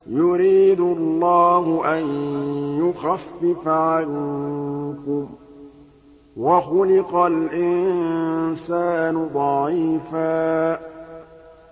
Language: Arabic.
يُرِيدُ اللَّهُ أَن يُخَفِّفَ عَنكُمْ ۚ وَخُلِقَ الْإِنسَانُ ضَعِيفًا